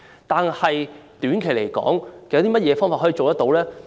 短期方面有甚麼可以做到呢？